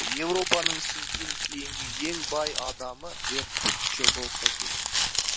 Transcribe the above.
европаның сізден кейінгі ең бай адамы бертуччо болса керек